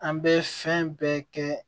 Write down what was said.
An bɛ fɛn bɛɛ kɛ